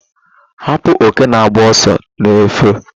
Hapu oke na-agba ọsọ n'efu